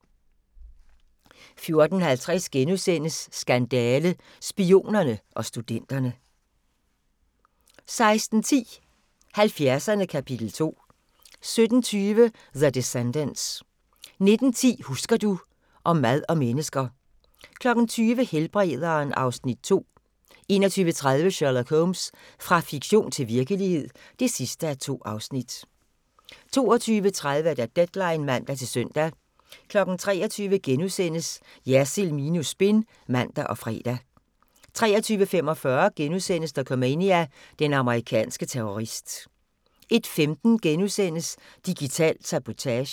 14:50: Skandale - Spionerne og studenterne * 16:10: 70'erne – kapitel 2 17:20: The Descendants 19:10: Husker du ...- Om mad og mennesker 20:00: Helbrederen (Afs. 2) 21:30: Sherlock Holmes – fra fiktion til virkelighed (2:2) 22:30: Deadline (man-søn) 23:00: Jersild minus spin *(man og fre) 23:45: Dokumania: Den amerikanske terrorist * 01:15: Digital sabotage *